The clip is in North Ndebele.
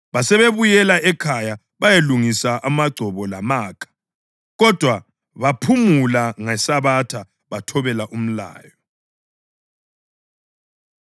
Basebebuyela ekhaya bayalungisa amagcobo lamakha. Kodwa baphumula ngeSabatha bethobela umlayo.